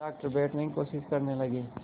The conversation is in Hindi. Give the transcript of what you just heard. डॉक्टर बैठने की कोशिश करने लगे